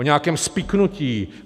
O nějakém spiknutí.